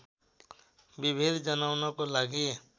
विभेद जनाउनको लागि